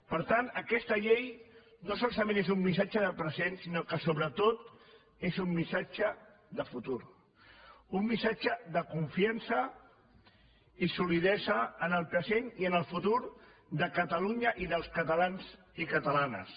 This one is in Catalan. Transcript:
per tant aquesta llei no solament és un missatge de present sinó que sobretot és un missatge de futur un missatge de confiança i solidesa en el present i en el futur de catalunya i dels catalans i catalanes